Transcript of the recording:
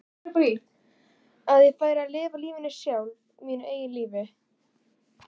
Að ég færi að lifa lífinu sjálf, mínu eigin lífi?